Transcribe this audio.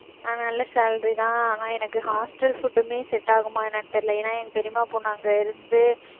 ஆஹ் நல்ல salary தான் ஆனா எனக்கு hostel food உமே set ஆகுமா என்னன்னு தெரியல. ஏன்னா என் பெரியம்மா பொண்ணு அங்க இருந்து